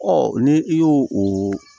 ni i y'o o